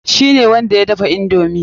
Shi ne wanda ya dafa indomi.